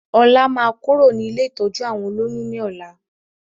Ọlá máa kúrò ní ilé ìtọ́jú àwọn olóyún ni ọ̀la